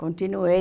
Continuei.